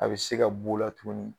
A bɛ se ka b'o la tuguni